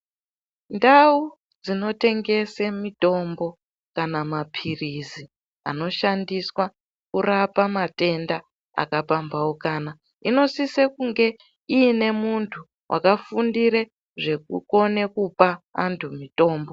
Ndau dzinotengese mitombo kana maphirizi anoshandiswa kurapa matenda akapambauka, inosise kunge ine muntu wakafundire zvekukone kupa antu mitombo.